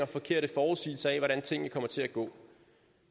forkerte forudsigelser af hvordan tingene kommer til at gå